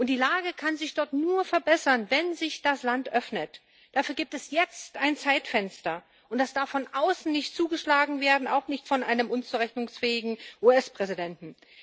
Die Lage kann sich dort nur verbessern, wenn sich das Land öffnet, und dafür gibt es jetzt ein Zeitfenster, das darf von außen nicht zugeschlagen werden auch nicht von einem unzurechnungsfähigen US-Präsidenten.